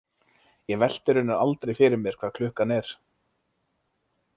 Ég velti raunar aldrei fyrir mér hvað klukkan er.